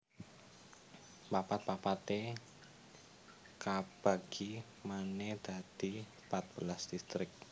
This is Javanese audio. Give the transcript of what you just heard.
Papat papaté kabagi manè dadi pat belas distrik